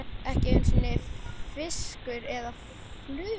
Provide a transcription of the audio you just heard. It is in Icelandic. Ekki einu sinni fiskur eða fluga.